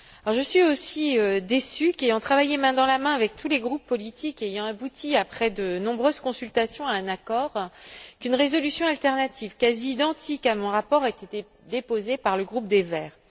Je suis aussi déçue qu'après avoir travaillé main dans la main avec tous les groupes politiques de façon à aboutir, après de nombreuses consultations, à un accord, une résolution alternative quasi identique à mon rapport ait été déposée par le groupe des Verts.